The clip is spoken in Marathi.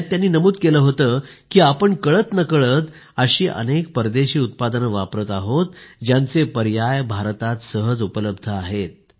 यात त्यांनी नमूद केले होते कि आपण कळतनकळत अशी परदेशी उत्पादने वापरत आहेत ज्यांचे पर्याय भारतात सहज उपलब्ध आहेत